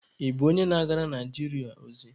Ị bụ onye na-agara Naijiria ozi?